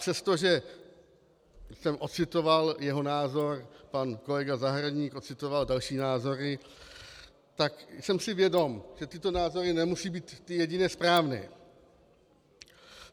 Přestože jsem ocitoval jeho názor, pan kolega Zahradník ocitoval další názory, tak jsem si vědom, že tyto názory nemusí být ty jedině správné.